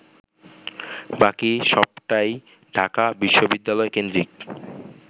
বাকি সবটাই ঢাকা বিশ্ববিদ্যালয়কেন্দ্রিক